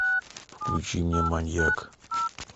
включи мне маньяк